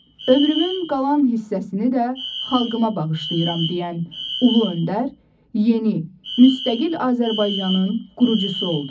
Ömrümün qalan hissəsini də xalqıma bağışlayıram deyən ulu öndər, yeni, müstəqil Azərbaycanın qurucusu oldu.